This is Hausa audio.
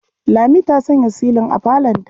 Lami ta sanya silin a falonta.